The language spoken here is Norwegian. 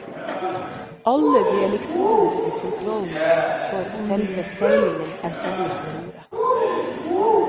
Alle de elektroniske kontrollene for selve seilingen er samlet ved roret.